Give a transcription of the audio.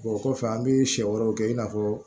o kɔfɛ an bi sɛ wɛrɛw kɛ i n'a fɔ